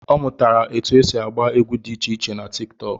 Ọ mụtara etu esi agba egwu dị icheiche na tiktok